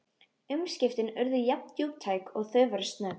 Umskiptin urðu jafndjúptæk og þau voru snögg.